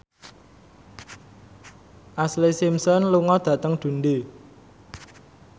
Ashlee Simpson lunga dhateng Dundee